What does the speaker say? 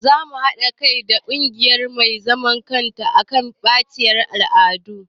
Zamu haɗa kai da ƙungiya mai zaman kansu akan batacciyar al'adu